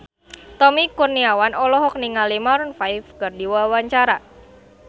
Tommy Kurniawan olohok ningali Maroon 5 keur diwawancara